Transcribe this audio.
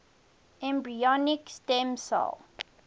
embryonic stem cell